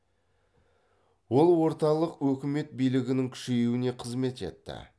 ол орталық өкімет билігінің күшеюіне қызмет етті